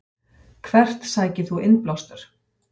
Hvert sækir þú innblástur?